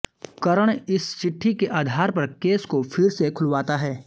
करण इस चिट्ठी के आधार पर केस को फिर से खुलवाता है